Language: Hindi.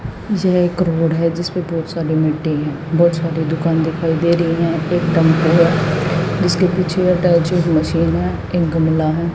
यह एक रोड है जिस पे बहुत सारी मिट्टी हैं बहुत सारी दुकान दिखाई दे रही हैं एकदम पूरा जिसके पीछे अटैचिंग मशीन है एक गमला है।